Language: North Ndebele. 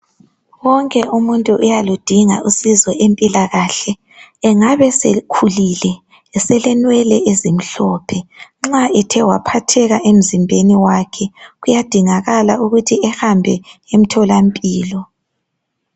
Wonke umuntu uyaludinga usizo lwempilakahle .Engabe sekhulile esele nwele ezimhlophe .Nxa ethe waphatheka emzimbeni wakhe kuyadingakala ukuthi ehambe emtholampilo .